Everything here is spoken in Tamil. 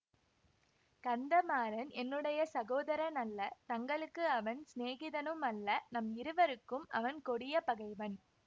கந்தமாறன் என்னுடைய சகோதரன் அல்ல தங்களுக்கு அவன் சிநேகிதனும் அல்ல நம் இருவருக்கும் அவன் கொடிய பகைவன்